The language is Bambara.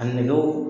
A nɛgɛw